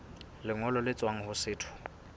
lengolo le tswang ho setho